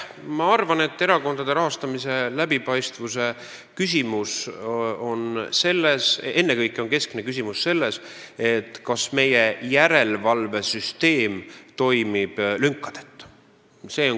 Ma arvan, et erakondade rahastamise läbipaistvuse puhul on keskne küsimus ennekõike see, kas meie järelevalvesüsteem toimib lünkadeta.